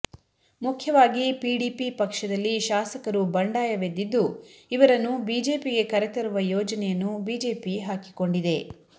ಮುಖ್ಯವಾಗಿ ಪಿಡಿಪಿ ಪಕ್ಷದಲ್ಲಿ ಶಾಸಕರು ಬಂಡಾಯವೆದ್ದಿದ್ದು ಇವರನ್ನು ಬಿಜೆಪಿಗೆ ಕರೆ ತರುವ ಯೋಜನೆಯನ್ನು ಬಿಜೆಪಿ ಹಾಕಿಕೊಂಡಿದೆ